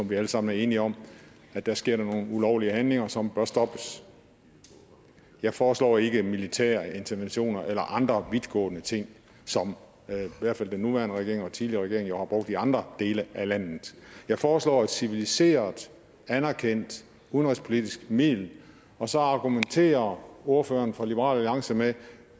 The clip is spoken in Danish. vi alle sammen er enige om at der sker nogle ulovlige handlinger som bør stoppes jeg foreslår ikke militære interventioner eller andre vidtgående ting som i hvert fald den nuværende regering og tidligere regering jo har brugt i andre lande jeg foreslår et civiliseret anerkendt udenrigspolitisk middel og så argumenterer ordføreren fra liberal alliance med at